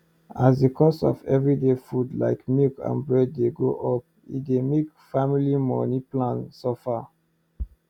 as the cost for every day food like milk and bread dey go up e dey make family money plan suffer